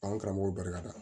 Anw karamɔgɔw barika la